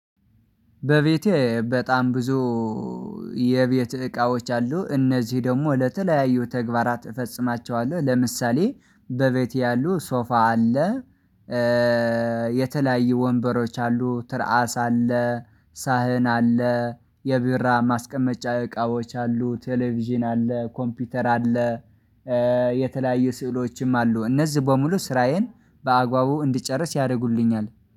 በቤቴ በጣም ብዙ የቤት እቃዎች አሉ እነዚህ ደግሞ ለተለያዩ ተግባራት እፈጽማቸዋለሁ። ለምሳሌ በቤቴ ያሉ ሶፋ አለ። የተለያዩ ወንበሮች አሉ ትርአስ አለ ሳህን አለ የቢራ ማስቀመጫ እቃዎች አሉ ቴሌቪዥን አለ ኮምፒውተር አለ። የተለያዩ ስዕሎችም አሉ እነዚህ በሙሉ ስራዬን በአግባቡ እንድጨርስ ያደርጉልኛል።